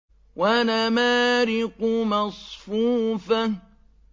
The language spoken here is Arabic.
وَنَمَارِقُ مَصْفُوفَةٌ